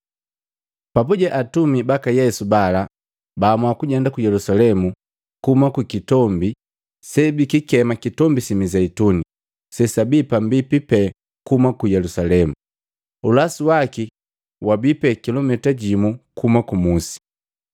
Papuje atumi baka Yesu bala baamua kujenda Ku Yelusalemu kuhuma ku kitombi sebikikema Kitombi si Mizeituni, gogwabi pambipi pe kuhumi Ku Yelusalemu, ulasu waki wabipe atua kilumita jimu kuhuma kumusi.